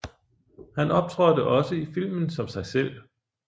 Han optrådte også i filmen som sig selv